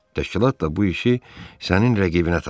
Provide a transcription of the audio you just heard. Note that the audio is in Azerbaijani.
Təşkilat da bu işi sənin rəqibinə tapşırdı.